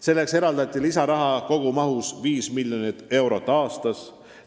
Selleks eraldati lisaraha kogumahus 5 miljonit eurot aastas.